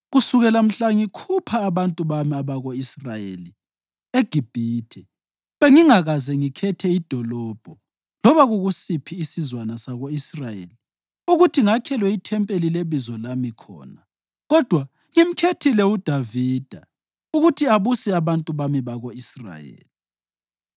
‘Kusukela mhla ngikhupha abantu bami abako-Israyeli eGibhithe, bengingakaze ngikhethe idolobho loba kukusiphi isizwana sako-Israyeli ukuthi ngakhelwe ithempeli leBizo lami khona, kodwa ngimkhethile uDavida ukuthi abuse abantu bami bako-Israyeli.’